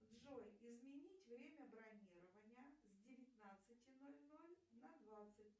джой изменить время бронирования с девятнадцати ноль ноль на двадцать